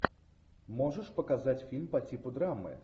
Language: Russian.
можешь показать фильм по типу драмы